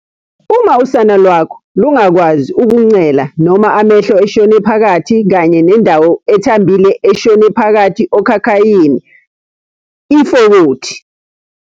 .uma usana lwakho lungakwazi ukuncela noma amehlo eshone phakathi kanye nendawo ethambile eshone phakathi okhakhayini, ifokothi.